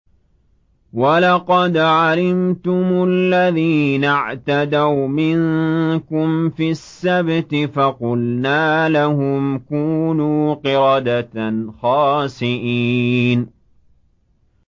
وَلَقَدْ عَلِمْتُمُ الَّذِينَ اعْتَدَوْا مِنكُمْ فِي السَّبْتِ فَقُلْنَا لَهُمْ كُونُوا قِرَدَةً خَاسِئِينَ